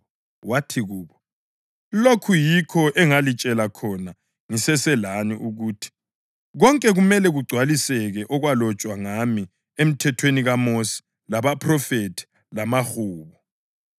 Wathi kubo, “Lokhu yikho engalitshela khona ngiseselani ukuthi: Konke kumele kugcwaliseke okwalotshwa ngami eMthethweni kaMosi labaPhrofethi lamaHubo.”